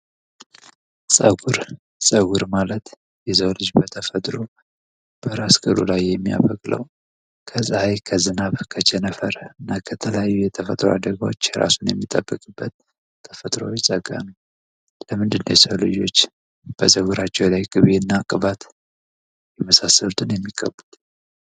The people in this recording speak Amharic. ፀጉር ፀጉር ማለት የሰው ልጅ በተፈጥሮ በራስ ቅሉ ላይ የሚያበቅለው ከዝናብ ከፀሐይ ከቸነፈር እና ከተለያዩ የተፈጥሮ አደጋዎች ራሳቸውን የሚጠብቁበት ተፈጥሯዊ ጸጋ ነው። ለምንድን ነው ሰወች ራሳቸው ላይ ቅቤ እና ቅባት የሚቀቡት?